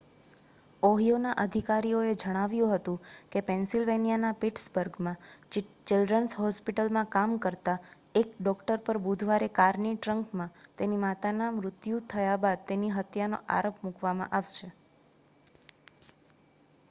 ઓહિયોના અધિકારીઓએ જણાવ્યું હતું કે પેન્સિલવેનિયાના પિટ્સબર્ગમાં ચિલ્ડ્રન્સ હોસ્પિટલમાં કામ કરતા એક ડૉક્ટર પર બુધવારે કારની ટ્રંકમાં તેની માતાનું મૃત્યુ થયા બાદ તેની હત્યાનો આરોપ મૂકવામાં આવશે